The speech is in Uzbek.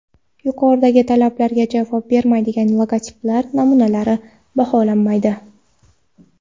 Yuqoridagi talablarga javob bermaydigan logotiplar namunalari baholanmaydi.